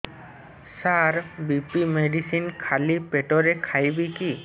ସାର BP medicine ଖାଲି ପେଟରେ ଖାଇବି କି